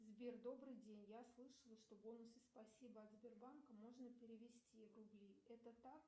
сбер добрый день я слышала что бонусы спасибо от сбербанка можно перевести в рубли это так